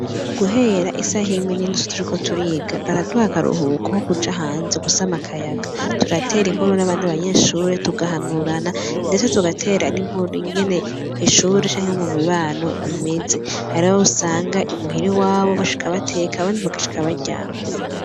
Guhera isaha imwe n'inusu turiko turiga baraduha akaruhuko ko kuja hanze gusama akayaga, turatera inkuru n'abandi banyeshure tuhanurana, ndetse tukanatera n'inkuru ingene kw'ishure canke mumibano bimeze. Hari abo usanga imuhira iwabo bashika bateka abandi bagashika baryama.